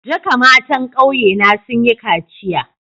Duka matan ƙauye na sun yi kaciya.